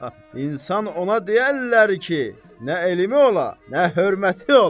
İnsan ona deyərlər ki, nə elmi ola, nə hörməti ola.